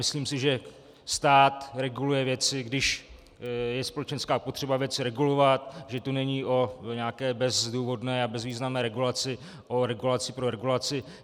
Myslím si, že stát reguluje věci, když je společenská potřeba věci regulovat, že to není o nějaké bezdůvodné a bezvýznamné regulaci, o regulaci pro regulaci.